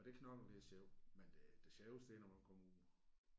Og det at knokle det er sjovt men det det sjoveste det er når man kommer ud